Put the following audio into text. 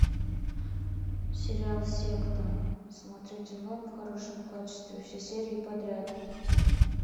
сериал секта смотреть онлайн в хорошем качестве все серии подряд